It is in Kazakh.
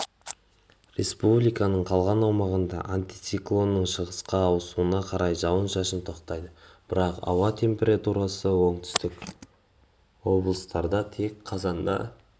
республиканың қалған аумағында антициклонның шығысқа ауысына қарай жауын-шашын тоқтайды бірақ ауа температурасы оңтүстік облыстарда тек қазанда